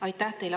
Aitäh teile!